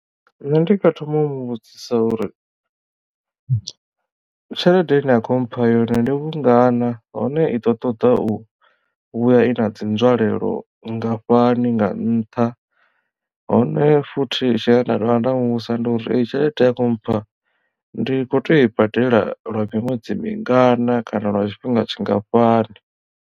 Nṋe ndi nga thoma u mu vhudzisa uri tshelede ine ya kho mpha yone ndi vhungana hone i ḓo ṱoḓa u vhuya i na dzi nzwalelo vhungafhani nga nṱha hone futhi tshine nda dovha nda muvhudzisa ndi uri tshelede ya khou mmpha ndi kho teo i badela lwa miṅwedzi mingana kana lwa tshifhinga tshingafhani.